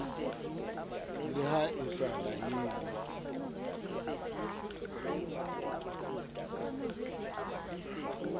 le ha e sa laele